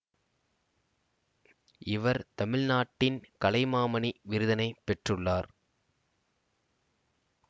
இவர் தமிழ்நாட்டின் கலைமாமணி விருதினை பெற்றுள்ளார்